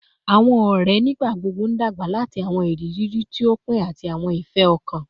Awọn ọrẹ nigbagbogbo n dagba lati awọn iriri ti o pin ati awọn ifẹ-ọkan